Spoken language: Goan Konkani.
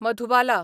मधुबाला